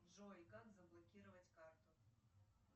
джой как заблокировать карту